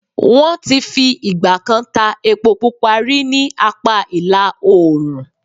Wọ́n ti fi ì̀gbà kan ta epo pupa rí ní apá ìlà oòrùn.